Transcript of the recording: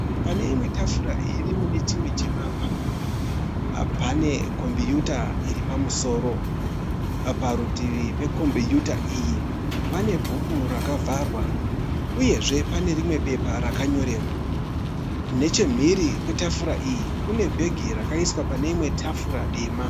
Pane imwe tafura iri mune chimwe chivakwa. Pane kombiyuta iripamusoro, parutivi pekombiyuta iyi pane bhuku rakavharwa uyezve pane rimwe bepa rakanyorerwa. Nechimhiri kwetafura iyi kune bhegi rakaiswa paneimwe tafura dema.